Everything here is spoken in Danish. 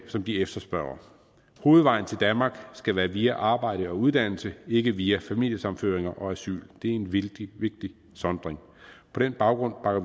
som de efterspørger hovedvejen til danmark skal være via arbejde og uddannelse ikke via familiesammenføring og asyl det er en vældig vigtig sondring på den baggrund bakker